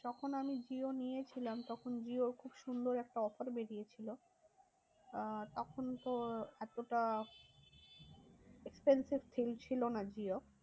যখন আমি জিও নিয়েছিলাম তখন জিওর খুব সুন্দর একটা offer বেরিয়েছিল। আহ তখন তো এতটা expensive field ছিল না জিও।